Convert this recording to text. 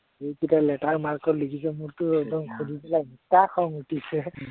সেই কেইটাই latter mark ৰ লিখিছে, মোৰতে একদম শুনি পেলাই এনেকুৱা খং উঠিছে